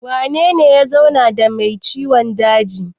Wanene ya zauna da mai ciwon dajin?